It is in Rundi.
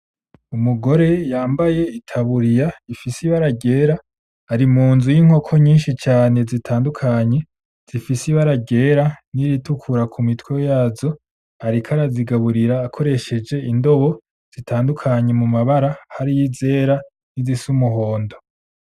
Umugore yambaye itaburiya ifise ibara ryera ari munzu y'inkoko nyinshi cane zitandukanye zifise ibara ryera n'iritukura ku mitwe yazo ariko arazigaburira akoresheje indobo zitandukanye mu mabara hari izera nizisa umuhondo.